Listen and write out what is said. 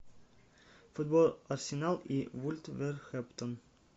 футбол арсенал и вулверхэмптон